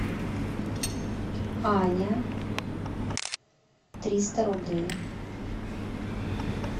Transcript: аня триста рублей